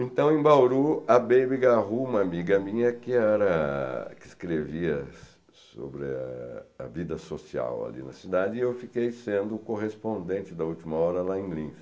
Então, em Bauru, a Baby Garrú, uma amiga minha que era... que escrevia sobre a a vida social ali na cidade, e eu fiquei sendo o correspondente da última hora lá em Linz.